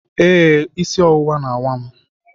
Ee, isi ọwụwa na-awa m.